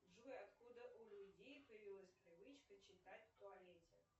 джой откуда у людей появилась привычка читать в туалете